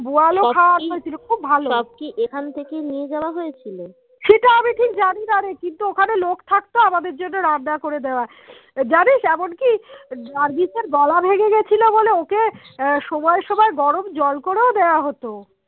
নার্গিসের গলা ভেঙে গেছিলো বলে ওকে আহ সময় সময় গরম জল করেও দেয়া হতো